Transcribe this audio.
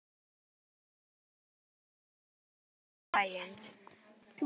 Bauð hún Sveini við svo búið að ganga í bæinn.